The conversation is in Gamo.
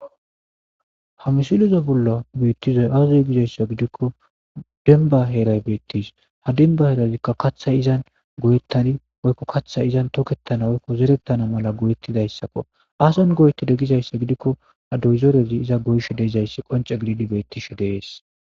ha misilizo bollo beettizoy azzuy gizayssa gidikko denba heeray beettis ha denba heerazikka kaththay izan goyettani oykko kaththay izan tokettana hoykko zerettana mala goyettidayssakko aason goyete degizayssa gidikko ha doyzorezi iza goyshe deeizayssi qonce gididi beettishe dees